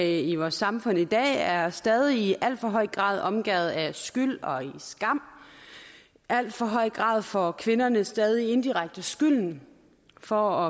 i vores samfund i dag er stadig i alt for høj grad omgærdet af skyld og skam i alt for høj grad får kvinderne stadig indirekte skylden for